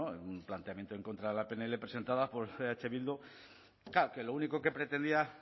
en un planteamiento en contra de la pnl presentada por eh bildu claro que lo único que pretendía